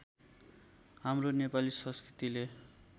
हाम्रो नेपाली संस्कृतिले